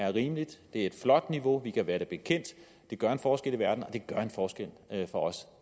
er rimeligt det er et flot niveau vi kan være det bekendt det gør en forskel i verden og det gør en forskel for os